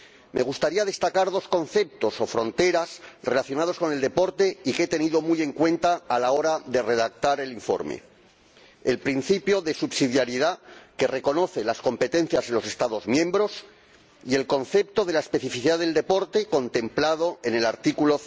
Me gustaría destacar dos conceptos o fronteras relacionados con el deporte que he tenido muy en cuenta a la hora de redactar el informe el principio de subsidiariedad, que reconoce las competencias de los Estados miembros, y el concepto de la especificad del deporte, contemplado en el artículo